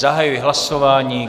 Zahajuji hlasování.